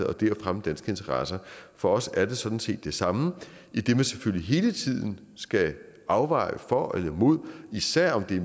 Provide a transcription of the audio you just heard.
og det at fremme danske interesser for os er det sådan set det samme idet man selvfølgelig hele tiden skal afveje for og imod især om det